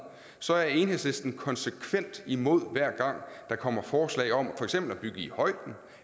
så er enhedslisten konsekvent imod hver gang der kommer forslag om for eksempel at bygge i højden